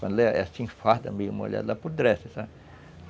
Quando ela é assim, farda, meio molhada, ela apodrece, sabe?